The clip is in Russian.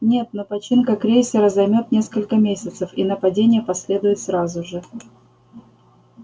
нет но починка крейсера займёт несколько месяцев и нападение последует сразу же